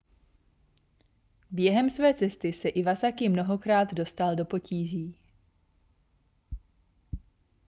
během své cesty se iwasaki mnohokrát dostal do potíží